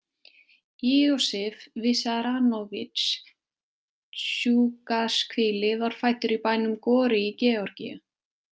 Iosif Vissarionovitsj Dsjugashvili var fæddur í bænum Gori í Georgíu.